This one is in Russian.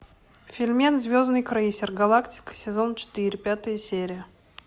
фильмец звездный крейсер галактика сезон четыре пятая серия